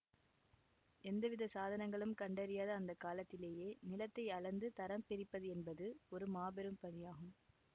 எந்தவித சாதனங்களும் கண்டறியாத அந்த காலத்திலேயே நிலத்தை அளந்து தரம் பிரிப்பதென்பது ஒரு மாபெரும் பணியாகும்